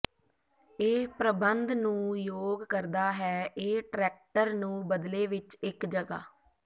ਇਹ ਪ੍ਰਬੰਧ ਨੂੰ ਯੋਗ ਕਰਦਾ ਹੈ ਇਹ ਟਰੈਕਟਰ ਨੂੰ ਬਦਲੇ ਵਿੱਚ ਇੱਕ ਜਗ੍ਹਾ